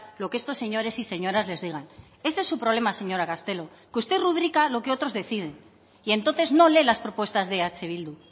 lo que estos señores y señoras les digan este es su problema señora castelo que usted rubrica lo que otros deciden y entonces no lee las propuestas de eh bildu